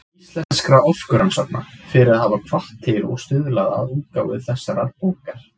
Íslenskra orkurannsókna, fyrir að hafa hvatt til og stuðlað að útgáfu þessarar bókar.